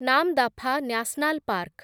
Namdapha national park